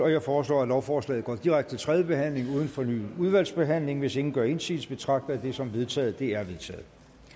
jeg foreslår at lovforslaget går direkte til tredje behandling uden fornyet udvalgsbehandling hvis ingen gør indsigelse betragter jeg det som vedtaget det er vedtaget